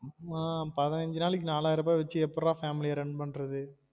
ஆமா பதினஞ்சு நாளைக்கு நாலாயிருபா வச்சி எப்புட்ரா family அ run பண்றது